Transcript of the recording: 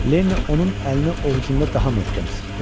Lenni onun əlini ovucunda daha möhkəm sıxdı.